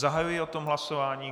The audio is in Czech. Zahajuji o tom hlasování.